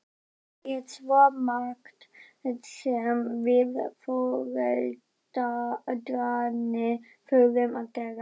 Það er svo margt sem við foreldrarnir þurfum að gera.